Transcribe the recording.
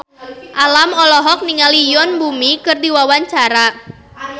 Alam olohok ningali Yoon Bomi keur diwawancara